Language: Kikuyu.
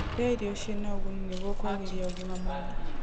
rĩa irio cia ũguni nĩguo kuagirĩa ũgima mwega